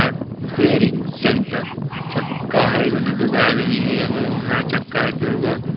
car repairing centre चक्का हैं उनो दुगो आदमी हैं एगो वहाँ चक्का हैं दुगो--